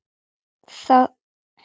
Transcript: Hann bað þig.